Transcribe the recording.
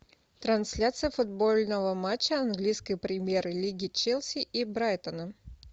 трансляция футбольного матча английской премьер лиги челси и брайтона